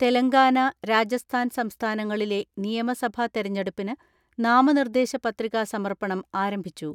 തെലങ്കാന, രാജസ്ഥാൻ സംസ്ഥാനങ്ങളിലെ നിയമസഭ തിരഞ്ഞെടുപ്പിന് നാമനിർദേശ പ്രതിക സമർപ്പണം ആരംഭിച്ചു.